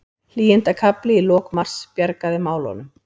Hlýindakafli í lok mars bjargaði málunum